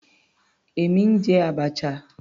Èmi ń jẹ abacha.